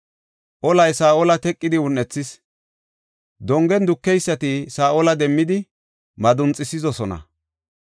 Olay Saa7ola teqidi un7ethis; dongen dukeysati Saa7ola demmidi madunxisidosona.